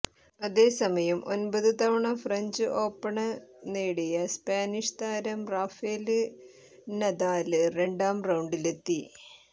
അതേ സമയം ഒമ്പത് തവണ ഫ്രഞ്ച് ഓപ്പണ് നേടിയ സ്പാനിഷ് താരം റാഫേല് നദാല് രണ്ടാം റൌണ്ടിലെത്തി